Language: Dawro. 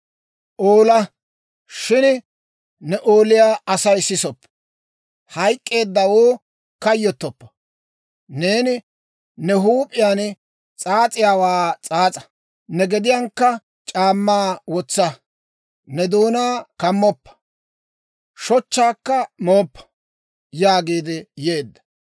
Oola, shin ne ooliyaa Asay sisoppo; hayk'k'eeddawoo kayyottoppa. Neeni ne huup'iyaan s'aas'iyaawaa s'aas'a; ne gediyankka c'aammaa wotsa. Ne doonaa kammoppa; shochchaakka mooppa» yaagiidde yeedda.